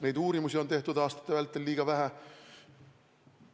Neid uuringuid on tehtud aastate vältel liiga vähe!